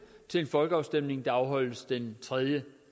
til en folkeafstemning der afholdes den tredje